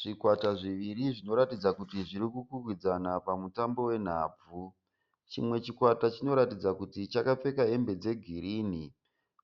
Zvikwata zviviri zvinoratidza kuti zviri kukwikwidzana pamutambo wenhabvu. Chimwe chikwata chinoratidza kuti chakapfeka hembe dzegirini,